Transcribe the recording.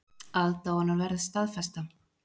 Aðdáunarverð staðfesta